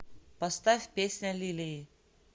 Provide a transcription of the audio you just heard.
поставь песня лилии